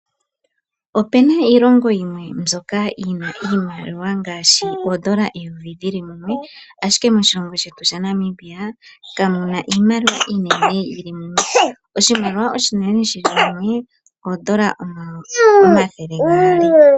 Opena iilongo yimwe mbyoka yina iimaliwa iinene yili mumwe ngaashi oondola eyovi. Moshilongo shetu kamuna iimaliwa iimene yili mumwe oshimaliwa oshinene shi li mumwe oondola omathele gaali.